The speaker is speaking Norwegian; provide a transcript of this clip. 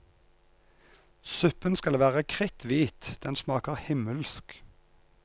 Suppen skal være kritt hvit, den smaker himmelsk.